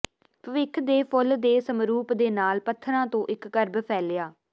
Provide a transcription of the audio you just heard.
ਭਵਿੱਖ ਦੇ ਫੁੱਲ ਦੇ ਸਮਰੂਪ ਦੇ ਨਾਲ ਪੱਥਰਾਂ ਤੋਂ ਇੱਕ ਕਰਬ ਫੈਲਿਆ